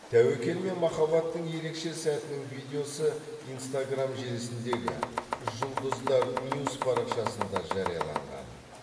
тәуекел мен махаббаттың ерекше сәтінің видеосы инстаграмм желісіндегі жұлдыздар нюс парақшасында жарияланған